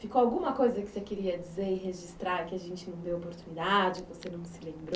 Ficou alguma coisa que você queria dizer e registrar que a gente não deu oportunidade, você não se lembrou?